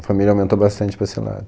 A família aumentou bastante para esse lado.